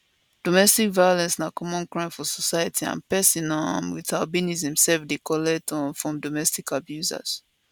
domestic violence na common crime for society and pesin um wit albinism sef dey collect um from domestic abusers